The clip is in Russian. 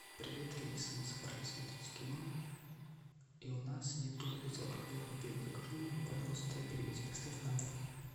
привет алиса мы собрались смотреть кино и у нас нету безалкогольного пива закажи нам его пожалуйста и привези доставь на дом